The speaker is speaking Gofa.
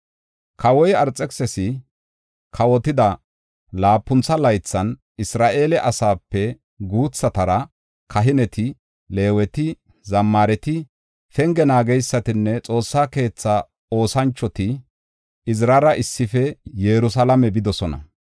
Kawoy Arxekisisi kawotida laapuntha laythan Isra7eele asaape guuthatara, kahineti, Leeweti, zammaareti, penge naageysatinne Xoossaa keetha oosanchoti Izirara issife Yerusalaame bidosona.